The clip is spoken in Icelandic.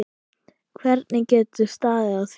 Hvernig getur staðið á því.